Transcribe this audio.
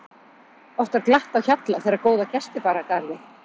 Oft var glatt á hjalla þegar góða gesti bar að garði.